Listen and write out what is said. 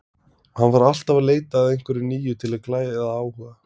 Hann var alltaf að leita að einhverju nýju til að glæða áhuga.